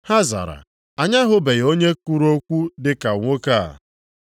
Ha zara, “Anyị ahụbeghị onye kwuru okwu dị ka nwoke a.”